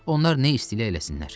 Onlar nə istəyirlər, eləsinlər.